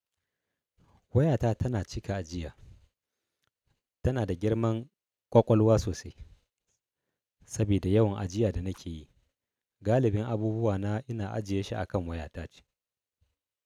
Wayata tana cika ajiya, tana da girman ƙwaƙwalwa sosai. Sabida yawan ajiya da nake yi, galibin abubuwana ina ajiye shi a kan wayata ce.